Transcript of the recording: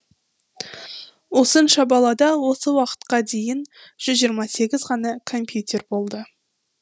осынша балада осы уақытқа дейін жүз жиырма сегіз ғана компьютер болды